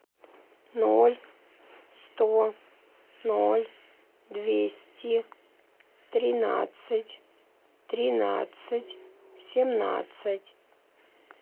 ноль сто ноль двести тринадцать тринадцать семнадцать